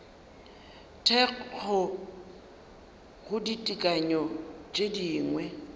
thekgo go ditekanyo tše dingwe